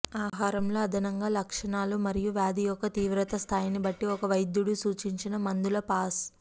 ఆహారంలో అదనంగా లక్షణాలు మరియు వ్యాధి యొక్క తీవ్రత స్థాయిని బట్టి ఒక వైద్యుడు సూచించిన మందుల పాస్